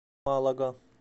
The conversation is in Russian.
малага